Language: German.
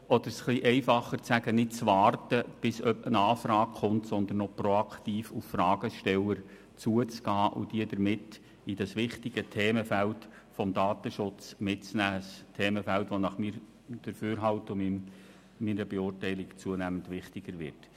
Oder um es einfacher auszudrücken: Es geht darum, nicht zu warten, bis eine Anfrage kommt, sondern proaktiv auf Fragesteller zuzugehen und somit diese in dieses wichtige Themenfeld des Datenschutzes mit einzubeziehen – ein Themenfeld, das nach meinem Dafürhalten und meiner Beurteilung zunehmend wichtiger wird.